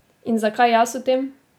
In zakaj jaz o tem?